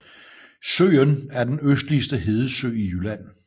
Søen er den østligste hedesø i Jylland